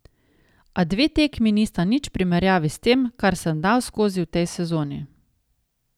A dve tekmi nista nič v primerjavi s tem, kar sem dal skozi v tej sezoni.